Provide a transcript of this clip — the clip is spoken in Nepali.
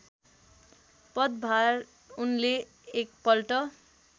पदभार उनले एक पल्ट